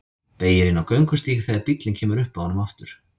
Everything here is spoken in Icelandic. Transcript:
Beygir inn á göngustíg þegar bíllinn kemur upp að honum aftur.